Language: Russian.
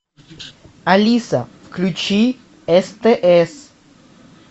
алиса включи стс